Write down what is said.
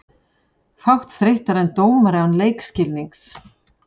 Fátt þreyttara en dómari án leikskilnings.